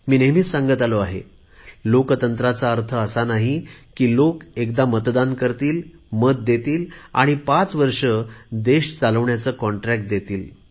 मी नेहमीच सांगत आलो आहे लोकशाहीचा अर्थ असा नाही की लोक एकदा मतदान करतील मत देतील आणि पाच वर्षे देश चालवण्याचे कॉन्ट्रॅक्ट देतील